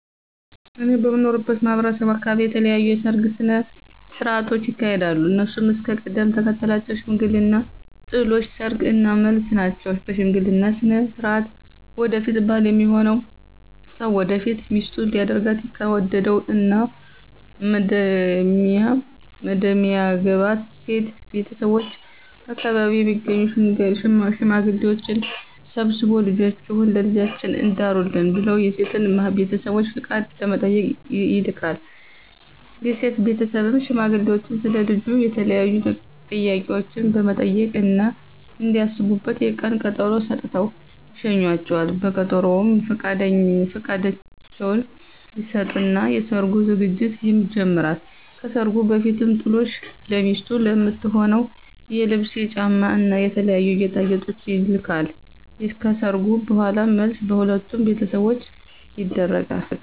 እኔ በምኖርበት ማህበረሰብ አካበቢ የተለያዩ የሰርግ ስነ ሥርዓቶች ይካሄዳሉ። እነሱም እስከ ቅደም ተከተላቸው ሽምግልና፣ ጥሎሽ፣ ሰርግ እና መልስ ናቸው። በሽምግልና ስነ ሥርዓት ወደፊት ባል ሚሆነው ሰው ወደፊት ሚስቱ ሊያደርጋት ከወደደው እና መደሚያገባት ሴት ቤተሰቦች በአከባቢው የሚገኙ ሽማግሌዎችን ሰብስቦ ልጃችሁን ለልጃችን ዳሩልን ብለው የሴትን ቤተሰቦች ፍቃድ ለመጠየቅ ይልካል። የሴት ቤተሰብም ሽማግሌዎቹን ስለ ልጁ የተለያዩ ጥያቄዎችን በመጠየቅ እና እንዲያስቡበት የቀን ቀጠሮ ሰጥተው ይሸኟቸዋል። በቀጠሮውም ፍቃዳቸውን ይሰጡና የሰርጉ ዝግጅት ይጀመራል። ከሰርጉ በፊትም ጥሎሽ ለሚስቱ ለምትሆነው የልብስ፣ የጫማ እና የተለያዩ ጌጣጌጦች ይልካል። ከሰርጉ በኋላም መልስ በሁለቱም ቤተሰቦች ይደረጋል።